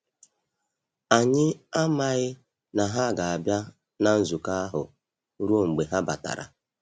Anyị amaghi na ha ga-abịa na nzukọ ahụ ruo mgbe ha batara.